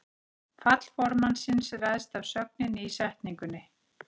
Fall fornafnsins ræðst af sögninni í setningunni.